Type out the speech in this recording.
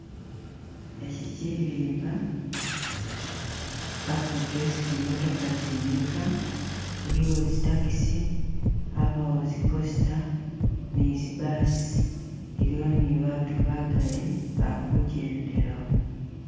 Eki kirimba akute esi zi'motoka zimika , iliwo zi taxi, abawo zi coaster ni zi bus, iliwo ni baatu bagali bakujendelawo.